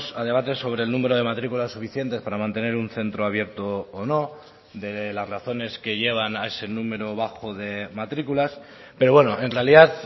a debates sobre el número de matrículas suficientes para mantener un centro abierto o no de las razones que llevan a ese número bajo de matrículas pero bueno en realidad